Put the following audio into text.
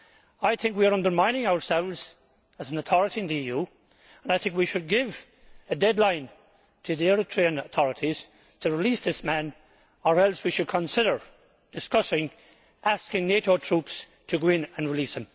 I think we are undermining ourselves as an authority in the EU, and I think we should give a deadline to the Eritrean authorities to release this man, or else we should consider discussing asking NATO troops to go in and release